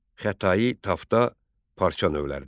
Xətai, tafta parça növləridir.